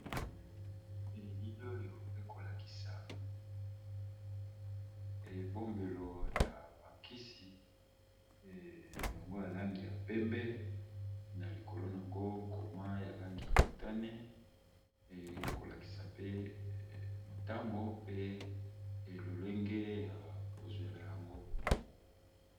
Na elili oyo eza kolakisa ebombeli ya kisi yango ya langi ya pembe na likolo koma ya langi ya motane ezolakisa tango pe lolenge yako zuela yango .